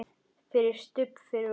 FYRIR STUBB fyrir ofan.